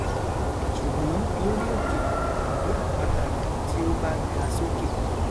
ṣùgbọn lórí òkè àbí àpáta tí ó bá ga sókè